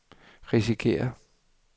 risikerer